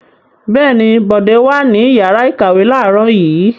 Bẹ́ẹ̀ ni, Bọ̀dé wà ní ìyàrá-ìkàwé láàárọ̀ yìí.